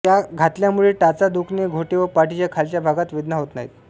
या घातल्यामुळे टाचा दुखणे घोटे व पाठीच्या खालच्या भागात वेदना होत नाहीत